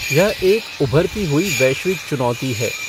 यह एक ऊभरती हुई वैश्विक चुनौती है।